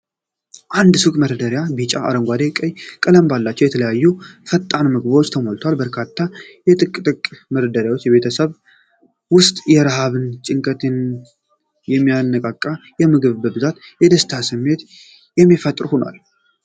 አንድ የሱቅ መደርደሪያ በቢጫ፣ አረንጓዴና ቀይ ቀለም ባላቸው የተለያዩ ፈጣን ምግቦች ተሞልቷል። በርካታ የጥቅል መደራረብ በቤተሰብ ውስጥ የረሃብን ጭንቀት የሚያቃልል የምግብ ብዛትና የደስታ ስሜትን የሚፈጥር ሆኗል ።